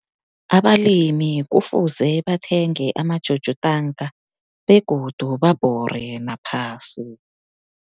Abalimi kufuze bathenge ama-jojo tank, begodu babhore naphasi.